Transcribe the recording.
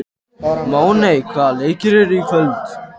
Máney, hvaða leikir eru í kvöld?